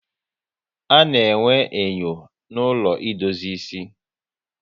A na-enwe enyo na ụlọ idozi ịsị